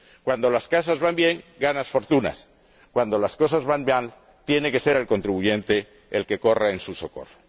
Cuando las cosas van bien, ganan fortuna y, cuando las cosas van mal, tiene que ser el contribuyente el que corra en su socorro.